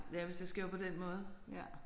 Ja hvis det skal være på den måde